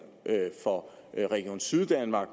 for region syddanmark